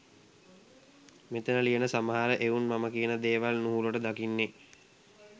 මෙතන ලියන සමහර එවුන් මම කියන දේවල් නුහුරට දකින්නෙ